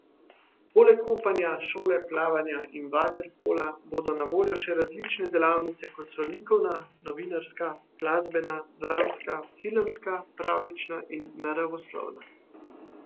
Poleg kopanja, šole plavanja in vaterpola bodo na voljo še različne delavnice, kot so likovna, novinarska, glasbena, dramska, filmska, pravljična in naravoslovna.